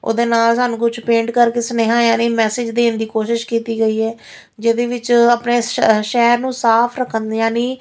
ਉਹਦੇ ਨਾਲ ਸਾਨੂੰ ਕੁਝ ਪੇਂਟ ਕਰਕੇ ਸੁਨੇਹਾ ਯਾਨੀ ਮੈਸੇਜ ਦੇਣ ਦੀ ਕੋਸ਼ਿਸ਼ ਕੀਤੀ ਗਈ ਆ ਜਿਹਦੇ ਵਿੱਚ ਆਪਣੇ ਸ਼ਹਿਰ ਨੂੰ ਸਾਫ ਰੱਖਣ ਯਾਨੀ --